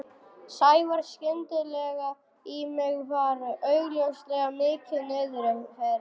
Sævar skyndilega í mig og var augljóslega mikið niðri fyrir.